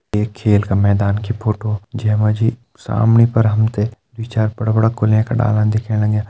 ये खेल का मैदान की फोटो जेमा जी सामने पर हमथे द्वी-चार बड़ा बड़ा कोलें के डाला दिख्यें लग्यां।